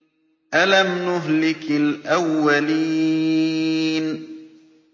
أَلَمْ نُهْلِكِ الْأَوَّلِينَ